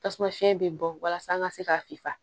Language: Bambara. Tasuma fiɲɛ bɛ bɔ walasa an ka se ka fisa